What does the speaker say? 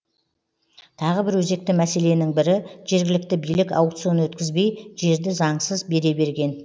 тағы бір өзекті мәселенің бірі жергілікті билік аукцион өткізбей жерді заңсыз бере берген